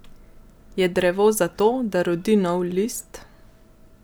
Je drevo zato, da rodi nov list?